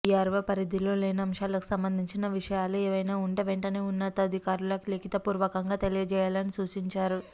VRO పరిధిలో లేని అంశాలకు సంబంధించిన విషయాలు ఏవైనా ఉంటే వెంటనే ఉన్నతాధికారులకు లిఖితపూర్వకంగా తెలియచేయాలని సూచించారు